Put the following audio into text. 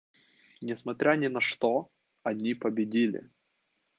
несмотря ни на что они победили